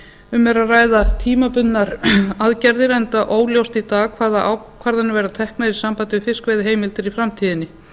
um er að ræða tímabundnar aðgerðir enda óljóst í dag hvaða ákvarðanir verða teknar í sambandi við fiskveiðiheimildir í framtíðinni